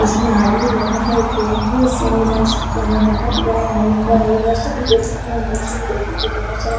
इसमें आदमी लगता है कोई इधर सो जा सकता है | बहुत बड़ा है लंबा है ये | इधर से भी देख सकते हैं उधर से भी देख सकते हैं बहुत सारा |